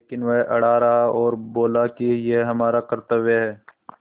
लेकिन वह अड़ा रहा और बोला कि यह हमारा कर्त्तव्य है